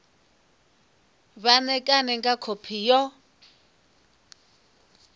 vha ṋekane nga khophi yo